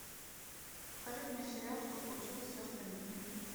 покажи мне сериал что случилось с сестрами ким